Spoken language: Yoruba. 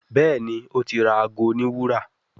Béèni o tí ra àgọ òní wúrà.